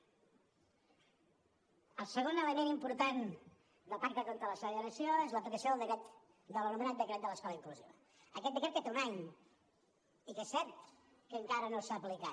el segon element important del pacte contra la segregació és l’aplicació de l’anomenat decret de l’escola inclusiva aquest decret que té un any i que és cert que encara no s’ha aplicat